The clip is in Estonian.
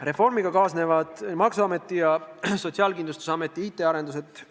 Reformiga kaasnevad Maksu- ja Tolliameti ning Sotsiaalkindlustusameti IT-arendused.